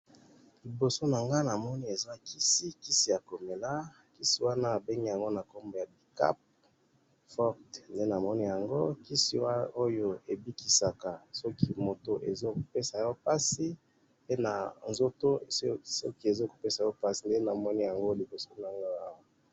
Namoni liboso na nga kisi ya ko mela ba bengi IBUCAP pe kisi oyo ebikisaka motu na nzoto soki ozo yoka pasi.